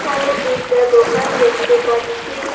এখানে দুইটা দোকান দেখতে পাচ্ছি।